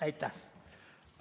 Aitäh!